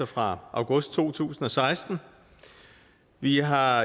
fra august to tusind og seksten vi har